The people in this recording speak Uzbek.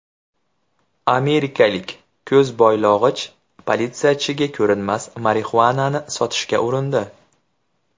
Amerikalik ko‘zboylog‘ich politsiyachiga ko‘rinmas marixuanani sotishga urindi .